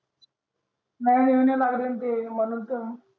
नई येऊन लागरनते म्हणून त